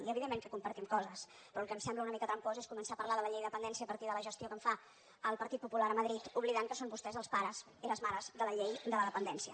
i evidentment que compartim coses però el que em sembla una mica trampós és començar a parlar de la llei de dependència a partir de la gestió que en fa el partit popular a madrid oblidant que són vostès els pares i les mares de la llei de la dependència